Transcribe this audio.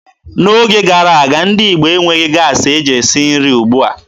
N'oge gara aga, ndị Igbo enweghị gaasị e ji esi nri ugbua.